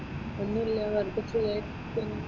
ഇന്നില്ലാ, വർക്കിക് പോയിരിക്കുന്നു?